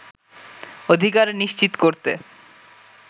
অধিকার নিশ্চিত করতে